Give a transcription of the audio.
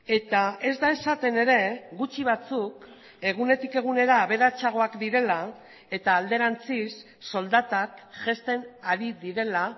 eta ez da esaten ere gutxi batzuk egunetik egunera aberatsagoak direla eta alderantziz soldatak jaisten ari direla